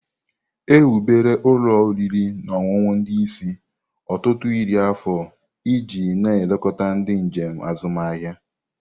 Ewubere ụlọ oriri na ọṅụṅụ ndị isi ọtụtụ iri afọ iji na-elekọta ndị njem azụmahịa.